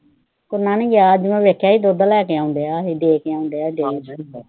ਸੋਮਾ ਨੀ ਗਿਆ, ਅੱਜ ਮੈਂ ਦੇਖਿਆ ਸੀ, ਦੁੱਧ ਲੈ ਕੇ ਆਉਂਦੀਆਂ, ਦੇ ਕੇ ਆਉਂਦੀਆਂ।